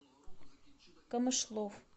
камышлов